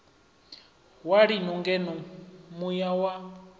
wa lino ngeno muya wa